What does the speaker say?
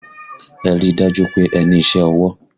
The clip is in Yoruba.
Ẹ ríi dájú pé ẹ ní iṣẹ́ ọwọ́!